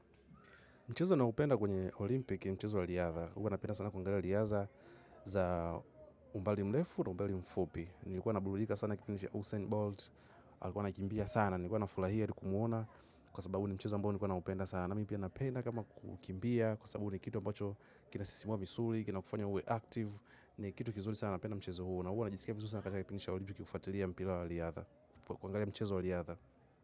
Mchezo naoupenda kwenye Olimpik, ni mchezo wa riadha, ua napenda sana kuangalia riaza za umbali mrefu na umbali mfupi. Nilikuwa naburulika sana kipinisha Usain Bolt, alikuwa anaikimbia sana, nilikuwa nafulahia ili kumuona kwa sababu ni mchezo ambao nilikuwa na upenda sana. Na mi pia napenda kama kukimbia, kwa sabu ni kitu ambacho kinasisimua misuli, kinakufanya uwe active, ni kitu kizuri sana napenda mchezo huo. Na huwa najisikia visuri sana katika kipindi sha Olympic kufuatilia mpila wa liadha pakuagalia mchezo waliadha.